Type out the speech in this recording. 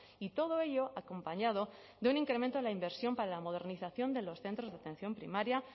y todo ello acompañado de un incremento de la inversión para la modernización de los centros de atención primaria